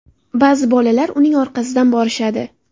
Ba’zi bolalar uning orqasidan borishadi.